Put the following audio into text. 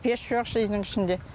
пеш жоқ үйдің ішінде